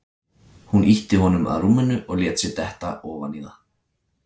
Hún ýtti honum að rúminu og lét sig detta ofan í það.